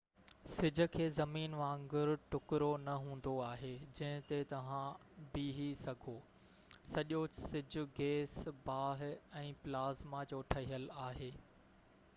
سج کي زمين وانگر ٽُڪرو نہ هوندو آهي جنهن تي توهان بيهہ سگهو سڄو سج گيس باه ۽ پلازما جو ٺهيل آهي